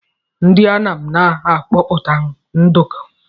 Ndị Anam na akọpụta nduku.